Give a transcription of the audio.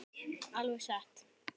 Alveg satt?